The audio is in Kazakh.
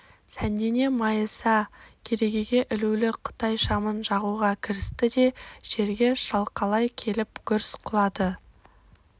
сәндене майыса керегеге ілулі қытай шамын жағуға кірісті де жерге шалқалай келіп гүрс құлады